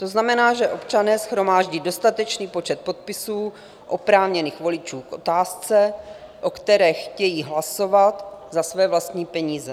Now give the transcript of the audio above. To znamená, že občané shromáždí dostatečný počet podpisů oprávněných voličů k otázce, o které chtějí hlasovat, za své vlastní peníze.